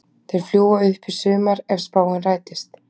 Þeir fljúga upp í sumar ef spáin rætist.